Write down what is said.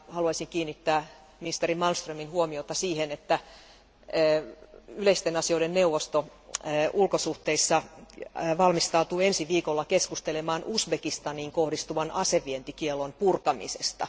Haluaisin kiinnittää ministeri Malmströmin huomiota siihen, että yleisten asioiden neuvosto ulkosuhteissa valmistautuu ensi viikolla keskustelemaan Uzbekistaniin kohdistuvan aseidenvientikiellon purkamisesta.